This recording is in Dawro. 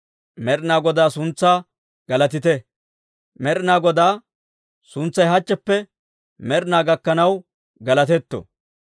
Med'inaa Godaa suntsay hachcheppe med'inaa gakkanaw galatetto!